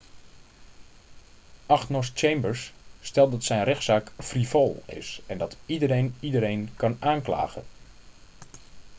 agnost chambers stelt dat zijn rechtszaak 'frivool' is en dat 'iedereen iedereen kan aanklagen.'